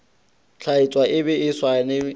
tlatšwa le be le saenwe